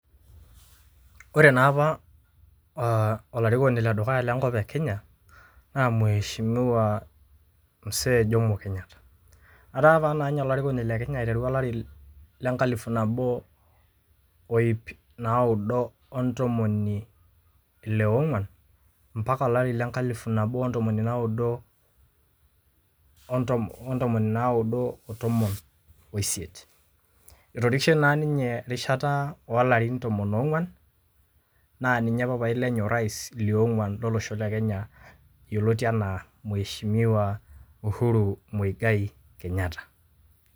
Ore naapa olarikoni ledukuya lenkop e Kenya, na mheshimiwa Msee Jomo Kenyatta. Etaa apa nanye olarikoni le Kenya aiteru olari lenkalifu nabo oip naudo ontomoni ile ong'uan, mpaka olari lenkalifu nabo ontomoni naudo, ontomoni naudo otomon oisiet. Etorikishe naa ninye erishata olarin tomon ong'uan, naa ninye papai lenye orais liong'uan lolosho le Kenya yioloti enaa, mheshimiwa Uhuru Muigai Kenyatta.